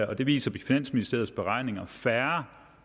og det viser finansministeriets beregninger færre